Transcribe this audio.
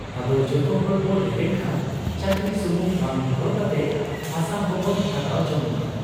ᱟᱫᱚ ᱡᱚᱛᱚᱦᱚᱲ ᱵᱚ ᱨᱮᱵᱮᱱ ᱠᱷᱟᱱ ᱪᱟᱹᱠᱨᱤ ᱥᱩᱢᱩᱝ ᱵᱟᱝ ᱦᱚᱨᱦᱚ ᱠᱟᱛᱮ ᱦᱟᱥᱟ ᱦᱚᱸᱵᱚᱱ ᱦᱟᱛᱟᱣ ᱡᱚᱝ ᱢᱟ ᱾